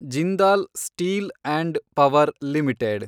Jindal steel and power limited